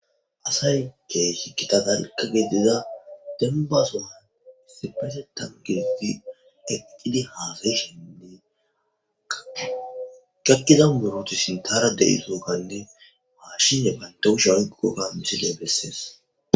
Asayi kehi gitta dalgga demba giddida soon eqqidi hassayishenne gakkida muruti sinthara de'izoganne mashshiney banta kushdhiya oyikkidoga missiley besses.